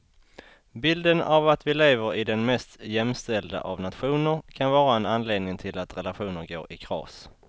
Bilden av att vi lever i den mest jämställda av nationer kan vara en anledning till att relationer går i kras.